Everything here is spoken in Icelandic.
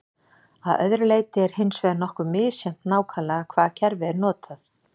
Að öðru leyti er hins vegar nokkuð misjafnt nákvæmlega hvaða kerfi er notað.